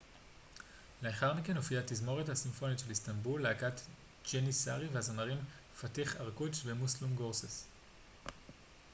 לאחר מכן הופיעו התזמורת הסימפונית של איסטנבול להקת ג'ניסארי והזמרים פאתיח ארקוץ' ומוסלום גורסס